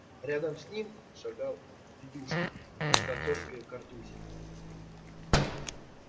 рядом с ним шагал федюшка с отцовской картузе